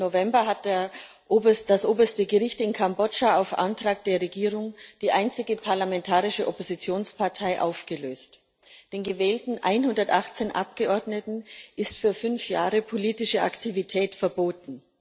16. November hat das oberste Gericht in Kambodscha auf Antrag der Regierung die einzige parlamentarische Oppositionspartei aufgelöst. Den gewählten 118 Abgeordneten ist für fünf Jahre politische Aktivität verboten.